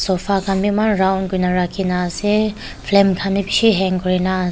sofa khan beh eman round kurena rakhe na ase flame khan beh beshe hang kurena ase.